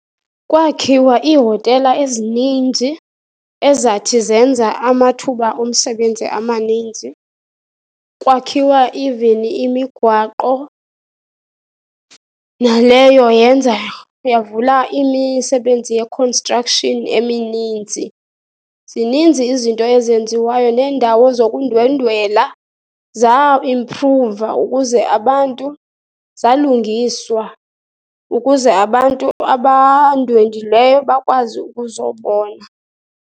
Kwakhiwa iihotela ezininzi, ezathi zenza amuthuba omsebenzi amaninzi. Kwakhiwa even imigwaqo, naleyo yenza, yavula imisebenzi ye-construction emininzi. Zininzi izinto ezenziwayo neendawo zokundwendwela zaimphruva ukuze abantu, zalungiswa ukuze abantu abandwendweleyo bakwazi ukuzobona.